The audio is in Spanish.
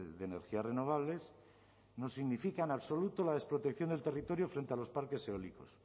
de energías renovables no significa en absoluto la desprotección del territorio frente a los parques eólicos